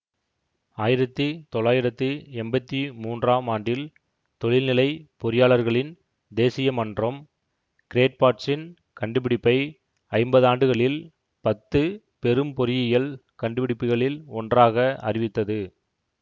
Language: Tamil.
ஆயிரத்தி தொள்ளாயிரத்தி எம்பத்தி மூன்றாம் ஆண்டில் தொழில்நிலைப் பொறியாளர்களின் தேசிய மன்றம் கிரேட்பாட்சின் கண்டுபிடிப்பை ஐம்பதாண்டுகளில் பத்து பெரும் பொறியியல் கண்டுபிடிப்புகளில் ஒன்றாக அறிவித்தது